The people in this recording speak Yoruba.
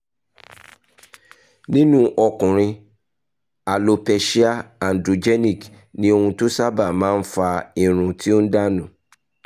nínú ọkùnrin alopecia androgenic ni ohun tó sábà máa ń fa irun tó ń dà nù